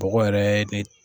Bɔgɔ yɛrɛ ye ne